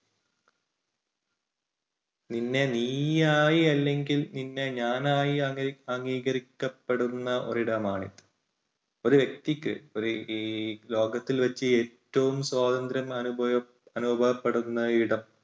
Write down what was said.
നിന്നെ നീയായി അല്ലെങ്കിൽ നിന്നെ ഞാനായി അംഗീ~അംഗീകരിക്കപ്പെടുന്ന ഒരു ഇടമാണ്. ഒരു വ്യക്തിക്ക് ഒരു ഈ ലോകത്തിൽ വച്ച് ഏറ്റവും സ്വാതന്ത്ര്യം അനുഭവ~അനുഭവപ്പെടുന്ന ഇടം.